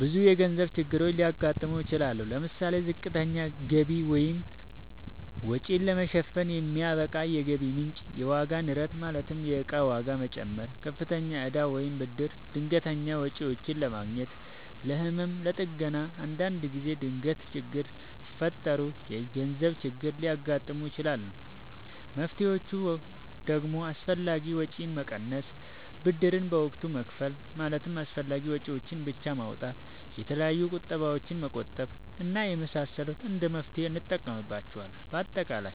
ብዙ የገንዘብ ችግሮች ሊያጋጥሙ ይችላሉ። ለምሳሌ፦ ዝቅተኛ ገቢ(ወጪን ለመሸፈን የማይበቃ የገቢ ምንጭ) ፣የዋጋ ንረት ማለትም የእቃ ዋጋ መጨመር፣ ከፍተኛ እዳ ወይም ብድር፣ ድንገተኛ ወጪዎች ለምሳሌ፦ ለህመም፣ ለጥገና እና አንዳንድ ጊዜ ድንገት ችግሮች ሲፈጠሩ የገንዘብ ችግር ሊያጋጥም ይችላል። መፍትሔዎቹ ደግሞ አላስፈላጊ ወጪን መቀነስ፣ ብድርን በወቅቱ መክፈል ማለትም አስፈላጊ ወጪዎችን ብቻ ማውጣት፣ የተለያዩ ቁጠባዎችን መቆጠብ እና የመሳሰሉት እንደ መፍትሔ እንጠቀምባቸዋለን። በአጠቃላይ